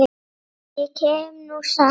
Ég kem nú samt!